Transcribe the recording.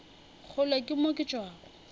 kgole ke mo ke tšwago